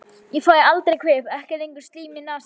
Ég fæ aldrei kvef, ekki lengur slím í nasir.